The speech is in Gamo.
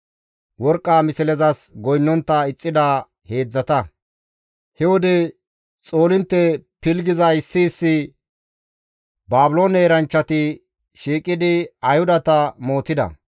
He wode xoolintte pilggiza issi issi Baabiloone eranchchati shiiqidi Ayhudata mootida.